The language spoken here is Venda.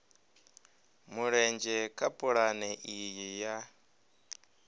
mulenzhe kha pulane iyi ya